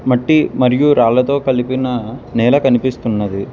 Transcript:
మట్టి మరియు రాళ్ళతో కలిపినా నేల కనిపిస్తున్నది.